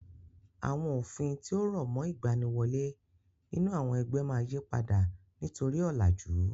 Àwọn òfin tí ó rọ̀mọ́ ìgbaniwọlé nínú àwọn ẹgbẹ́ máa yípadà nítorí ọ̀làjú.